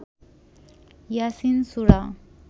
Yasin Surah